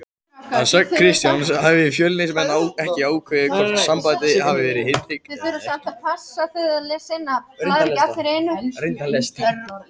Að sögn Kristjáns hafa Fjölnismenn ekki ákveðið hvort samið verði við Henrik eða ekki.